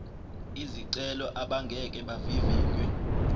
izicelo abangeke bavivinywe